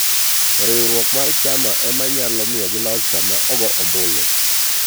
Riwruok mar chama emanyalo miyogi loch sama ogo ombulu.